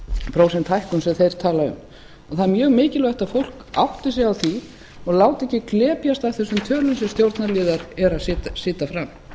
prósent hækkun sem þeir tala um það er mjög mikilvægt að fólk átti sig á því og láti ekki glepjast af þessum tölum sem stjórnarliðar eru að setja fram